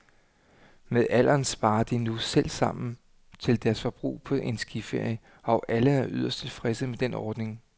Med alderen sparer de nu selv sammen til deres forbrug på en skiferie, og alle er yderst tilfredse med den ordning.